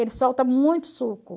Ele solta muito suco.